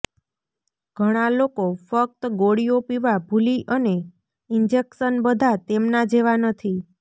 ઘણા લોકો ફક્ત ગોળીઓ પીવા ભૂલી અને ઇન્જેક્શન બધા તેમના જેવા નથી